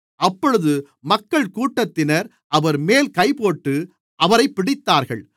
அப்பொழுது மக்கள்கூட்டத்தினர் அவர்மேல் கைபோட்டு அவரைப் பிடித்தார்கள்